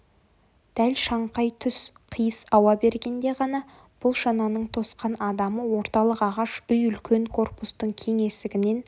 дәл шаңқай түс қиыс ауа бергенде ғана бұл шананың тосқан адамы орталық ағаш үй үлкен корпустың кең есігінен